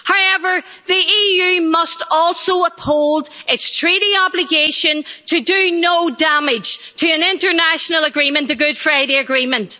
However, the EU must also uphold its treaty obligation to do no damage to an international agreement the Good Friday Agreement.